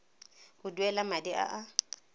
go duela madi a a